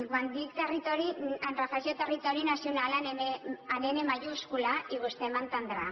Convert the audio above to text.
quan dic territori em refereixo a territori nacional amb ena majúscula i vostè m’entendrà